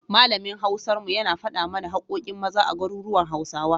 Malamin Hausar mu, yana faɗa mana haƙƙoƙin Maza a garuruwan Hausawa.